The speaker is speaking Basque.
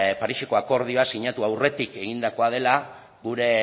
pariseko akordioa sinatu aurretik egindakoa dela gure